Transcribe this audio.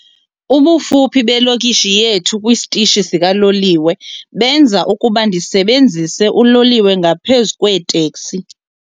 Ubufuphi belokishi yethu esitishini sikaloliwe benza ukuba ndisebenzise uloliwe ngaphezu kweeteksi.